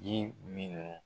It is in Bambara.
Ji minɛ